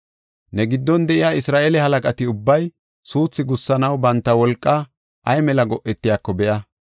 “Ne giddon de7iya Isra7eele halaqati ubbay suuthu gussanaw banta wolqaa ay mela go7etiyako be7a.